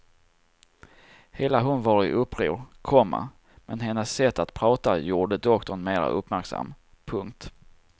Hela hon var i uppror, komma men hennes sätt att prata gjorde doktorn mera uppmärksam. punkt